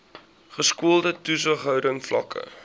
geskoolde toesighouding vlakke